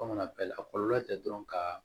Kɔmana bɛɛ la a kɔlɔlɔ tɛ dɔrɔn ka